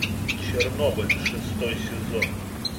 чернобыль шестой сезон